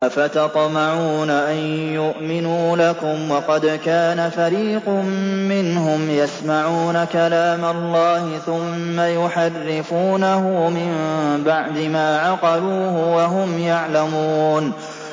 ۞ أَفَتَطْمَعُونَ أَن يُؤْمِنُوا لَكُمْ وَقَدْ كَانَ فَرِيقٌ مِّنْهُمْ يَسْمَعُونَ كَلَامَ اللَّهِ ثُمَّ يُحَرِّفُونَهُ مِن بَعْدِ مَا عَقَلُوهُ وَهُمْ يَعْلَمُونَ